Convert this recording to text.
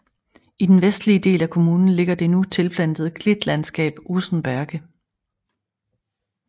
I den vestlige del af kommunen ligger det nu tilplantede klitlandskab Osenberge